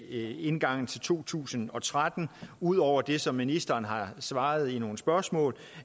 indgangen til to tusind og tretten ud over det som ministeren har svaret i nogle spørgsmål